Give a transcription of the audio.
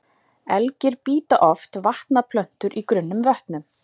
Elgir bíta oft vatnaplöntur í grunnum vötnum.